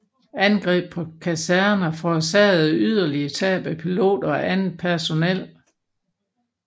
Angreb på kaserner forårsagede yderligere tab af piloter og andet personel